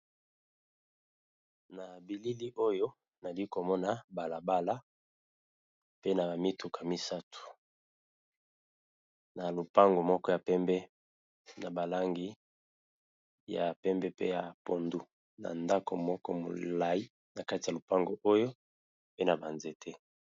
Nabilili oyo nalikomona Balabala pe naba mituka misatu na lupango moko ya pembe pe yapondu na ndako moko ya molayi nakati ya lupango oyo naba nzete